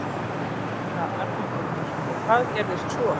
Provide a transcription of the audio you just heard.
Helga Arnardóttir: Og hvað gerðist svo?